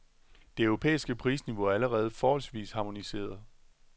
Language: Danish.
Det europæiske prisniveau er allerede forholdsvis harmoniseret.